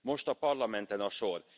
Most a Parlamenten a sor.